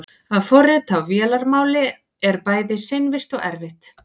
að forrita á vélarmáli er bæði seinvirkt og erfitt